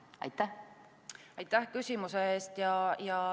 Aitäh küsimuse eest!